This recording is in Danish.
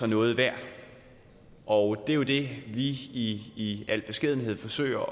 noget værd og det er jo det vi i al beskedenhed forsøger